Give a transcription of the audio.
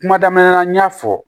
Kuma damina la n y'a fɔ